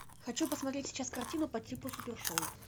хочу посмотреть сейчас картину по типу супершоу